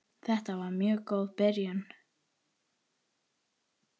Þetta var mjög góð byrjun.